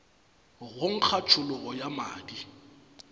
go nkga tšhologo ya madi